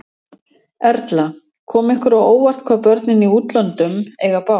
Erla: Kom ykkur á óvart, hvað börnin í útlöndum eiga bágt?